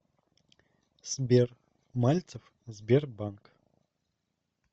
сбер мальцев сбербанк